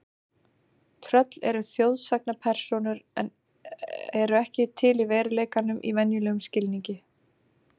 Tröll eru þjóðsagnapersónur eru ekki til í veruleikanum í venjulegum skilningi.